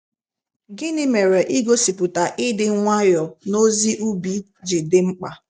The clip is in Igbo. Gịnị mere igosipụta ịdị nwayọọ n’ozi ubi ji dị mkpa?